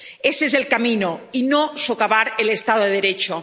Ese es el camino y no socavar el Estado de Derecho.